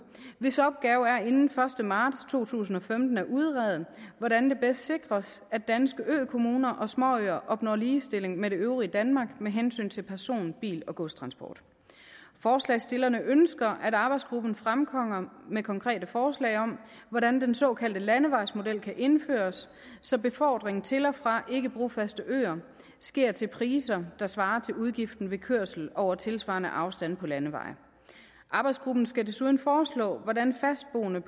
hvis opgave er inden første marts to tusind og femten at udrede hvordan det bedst sikres at danske økommuner og småøer opnår ligestilling med det øvrige danmark med hensyn til person bil og godstransport forslagsstillerne ønsker at arbejdsgruppen fremkommer med konkrete forslag om hvordan den såkaldte landevejsmodel kan indføres så befordring til og fra ikke brofaste øer sker til priser der svarer til udgiften ved kørsel over tilsvarende afstande på landevej arbejdsgruppen skal desuden foreslå hvordan fastboende